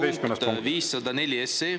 11. punkt, 504 SE.